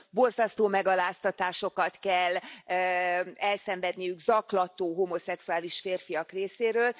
Borzasztó megaláztatásokat kell elszenvedniük zaklató homoszexuális férfiak részéről.